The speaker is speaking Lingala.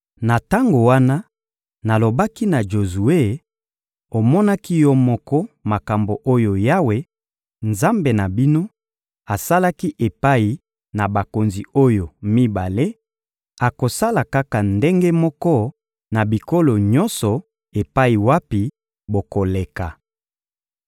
Na tango wana, nalobaki na Jozue: «Omonaki yo moko makambo oyo Yawe, Nzambe na bino, asalaki epai na bakonzi oyo mibale; akosala kaka ndenge moko na bikolo nyonso epai wapi bokoleka.